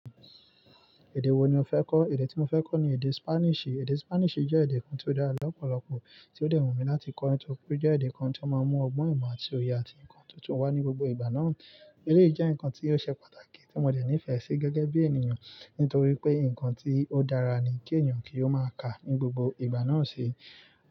Èdè wo ni o fẹ́ kọ́? Èdè tí mo fẹ́ kọ́ ni èdè Spanish. Èdè Spanish jẹ́ èdè kan tí ó dára lọ́pọ̀lọpọ̀, tí ó dẹrùn mi láti kọ́, nítorí pé jẹ́ èdè kan tí ó máa ń mú ọgbọ́n ìmọ̀ àti òye, àti nǹkan tuntun wá ní gbogbo ìgbà náà. Èdè yìí jẹ́ nǹkan tí ó ṣe pàtàkì tí mo dẹ̀ nífẹ̀ẹ́ sí gẹ́gẹ́ bí ènìyàn, nítorí pé nǹkan tí ó dára ni kí ènìyàn kí ó máa kà ní gbogbo ìgbà náà ṣe.